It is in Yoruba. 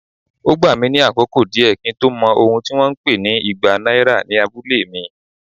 Ó gbà mí ní àkókò díẹ̀ kí n tó mọ̀ ohun tí wón ń pè igba náírà ní abúlé mi.